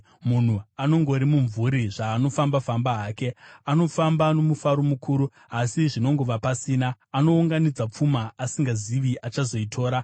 Munhu anongori mumvuri zvaanofamba-famba hake: anofamba nomufaro mukuru, asi zvinongova pasina; anounganidza pfuma, asingazivi achazoitora.